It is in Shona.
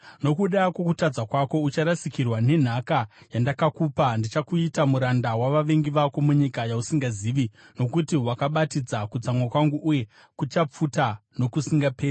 Nokuda kwokutadza kwako, ucharasikirwa nenhaka yandakakupa. Ndichakuita muranda wavavengi vako munyika yausingazivi, nokuti wakabatidza kutsamwa kwangu, uye kuchapfuta nokusingaperi.”